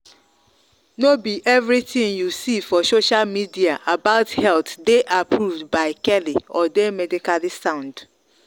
no be everything you see for social media about health dey approved by keli or dey medically sound.